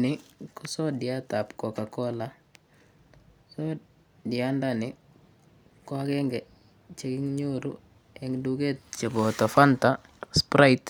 Ni ko sodiataab cocacola. Sodiandani ko agenge chekinyoru eng' duget koboto Fanta Sprite